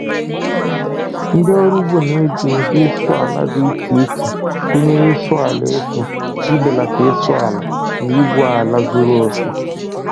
Ndị ọrụ ugbo na-eji ụdị ịsụ ala dị iche iche, gụnyere ịsụ ala efu, ibelata ịsụ ala, na igwu ala zuru oke.